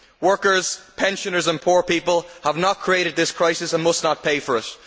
Workers, pensioners and poor people have not created this crisis and must not pay for it